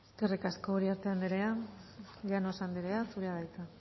eskerrik asko uriarte andrea llanos andrea zurea da hitza